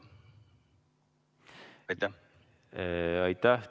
Aitäh!